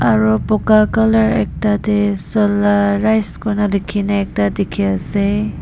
aru buka colour ekta tae solar rise kurna likhina ekta dikhiase.